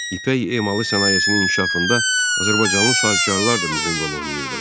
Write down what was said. İpək emalı sənayesinin inkişafında Azərbaycanlı sahibkarlar da mühüm rol oynayırdılar.